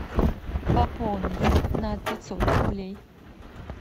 пополнить на пятьсот рублей